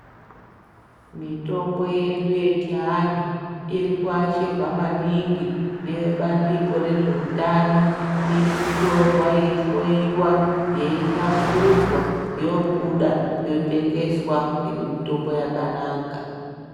Mitombo yedu yechiantu iri kuashirwa maningi nevebandiko rezveutano iri kutorwa yeihloyiwa yeihlamburudzwa yobuda yotengeswa iri mitombo yakanaka.